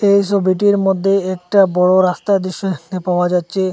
এই সবিটির মধ্যে একটা বড় রাস্তার দৃশ্য দেখতে পাওয়া যাচ্ছে।